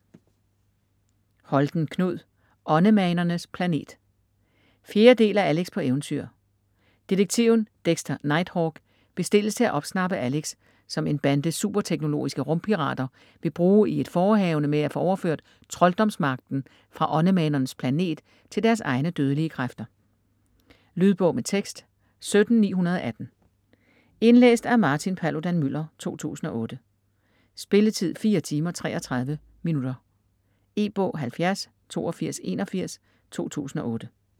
Holten, Knud: Åndemanernes planet 4. del af Alex på eventyr. Detektiven Dexter Nighthawk bestilles til at opsnappe Alex, som en bande super-teknologiske rumpirater vil bruge i et forehavende med at få overført trolddomsmagten fra Åndemanernes Planet til deres egne, dødelige kræfter. Lydbog med tekst 17918 Indlæst af Martin Paludan-Müller, 2008. Spilletid: 4 timer, 33 minutter. E-bog 708281 2008.